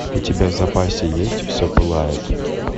у тебя в запасе есть все пылает